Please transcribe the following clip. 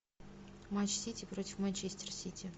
матч сити против манчестер сити